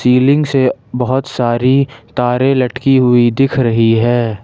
Ceiling से बहुत सारी तारे लटकी हुई दिख रही है।